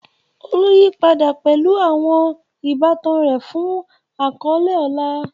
Olu yí padà pẹ̀lú àwọn ìbátan rẹ̀ fún àkọ́lé ọlá.